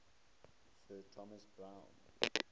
sir thomas browne